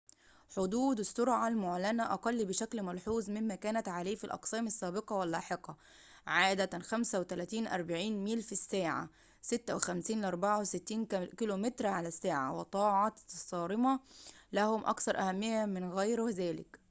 حدود السرعة المعلنة أقل بشكل ملحوظ مما كانت عليه في الأقسام السابقة واللاحقة — عادة 35-40 ميل في الساعة 56-64 كم / ساعة — والطاعة الصارمة لهم أكثر أهمية من غير ذلك